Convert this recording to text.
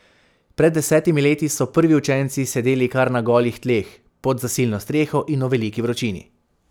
Pred desetimi leti so prvi učenci sedeli kar na golih tleh, pod zasilno streho in v veliki vročini.